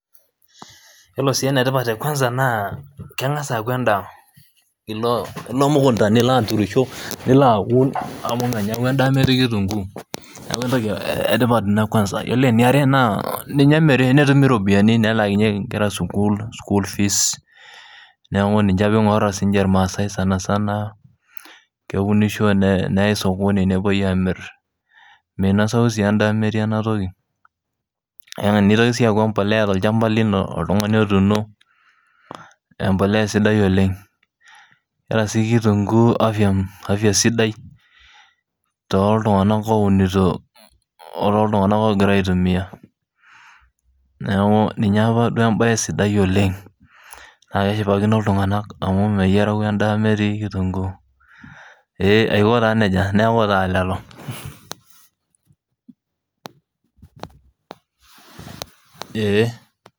Yiolo si ene tipat enkawanza naa kengas aaku endaa . Ilo emukunta nilo aturisho , nilo aun amu menyau endaa metii kitunguu , niaku entoki etipat ina kwanza. Yiolo eniare , ninye emiri , netumi iropiyiani , nelaakinyieki inkera sukuul, school fees, niaku ninche ake ingorita siniche irmaasae sanasana . Keunishoi neyay sokoni , nepuoi amir. Minosayu sii endaa metii ena toki . Nitoki sii aaku empolea tolchamba lino , oltungani otuuno , embolea sidai oleng. Eeta sii kitunguu afya sidai toltunganak ounito, otoo iltunganak ogira aitumia. Niaku ninye apa embae sidai oleng naa keshipakino iltunganak amu meyiarayu endaa metii kitunguu . Ee aiko taa nejia neaku taa lelo ee .